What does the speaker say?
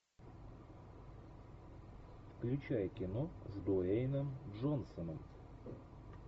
включай кино с дуэйном джонсоном